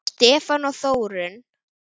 Stefán og Þórunn.